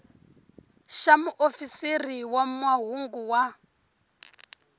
xa muofisiri wa mahungu wa